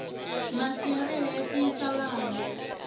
masi ya vele ya tiyisa vana